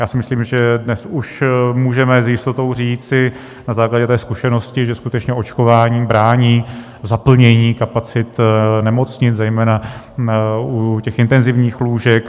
Já si myslím, že dnes už můžeme s jistotou říci na základě té zkušenosti, že skutečně očkování brání zaplnění kapacit nemocnic, zejména u těch intenzivních lůžek.